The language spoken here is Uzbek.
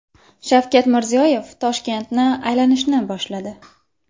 Shavkat Mirziyoyev Toshkentni aylanishni boshladi.